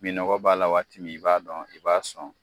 Minɔgɔ b'a la waati min , i b'a dɔn i b'a sɔn.